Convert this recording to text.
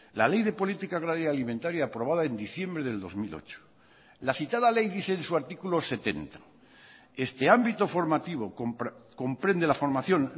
la ley de política agraria alimentaria aprobada en diciembre del dos mil ocho la citada ley dice en su artículo setenta este ámbito formativo comprende la formación